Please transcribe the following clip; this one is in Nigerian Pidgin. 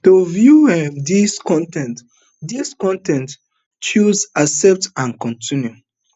to view um dis con ten t dis con ten t choose accept and continue